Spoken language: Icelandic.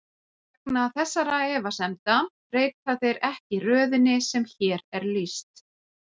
Vegna þessara efasemda breyta þeir ekki röðinni sem hér er lýst.